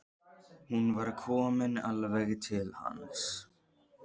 Hún er komin alveg til hans.